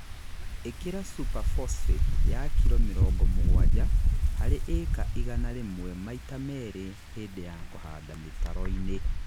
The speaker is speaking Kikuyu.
Īkĩra superphosphate ya kiro mĩrongo mũgwanja harĩ ĩka igana rĩmwe maita merĩ hĩndĩ wa kũhanda mĩtaro-inĩ